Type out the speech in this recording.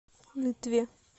нытве